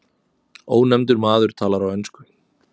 Ónefndur maður talar á ensku.